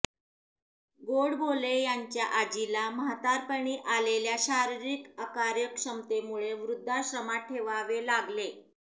गोडबोले यांच्या आजीला म्हातारपणी आलेल्या शारीरिक अकार्यक्षमतेमुळे वृद्धाश्रमात ठेवावे लागले